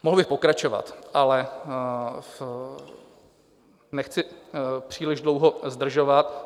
Mohl bych pokračovat, ale nechci příliš dlouho zdržovat.